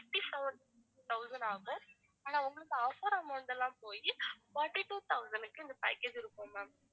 fifty-four thousand ஆகும் ஆனா உங்களுக்கு offer amount லாம் போயி forty-two thousand க்கு இந்த package இருக்கும் ma'am